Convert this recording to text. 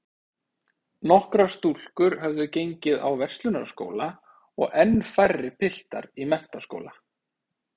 Nokkrar stúlkur höfðu gengið á Verslunarskóla og enn færri piltar í menntaskóla.